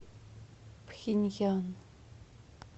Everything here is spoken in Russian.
пхеньян